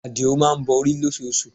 Adio má ń bọ orí lóṣoosù